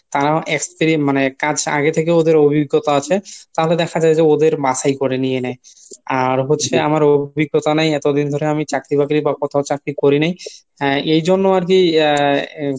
তারা experi~ মানে কাজ আগের থেকেই ওদের অভিজ্ঞতা আছে তাহলে দেখা যায় যে ওদের বাছাই করে নিয়ে নেহ। আর হচ্ছে আমার অভিজ্ঞতা নাই এতদিন ধরে আমি চাকরি বাকরি বা কোথাও চাকরি করি নাই এই জন্য আরকি আহ